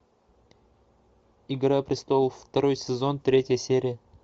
игра престолов второй сезон третья серия